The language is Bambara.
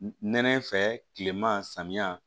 Nɛnɛ fɛ kilema samiya